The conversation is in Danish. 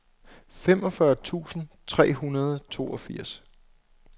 femogfyrre tusind tre hundrede og toogfirs